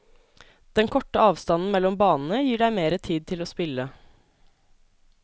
Den korte avstanden mellom banene gir deg mere tid til å spille.